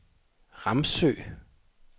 Ramsø